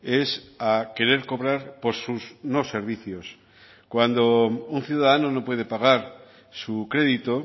es a querer cobrar por sus no servicios cuando un ciudadano no puede pagar su crédito